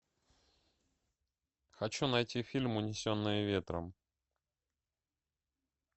хочу найти фильм унесенные ветром